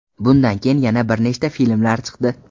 Bundan keyin yana bir nechta filmlar chiqdi.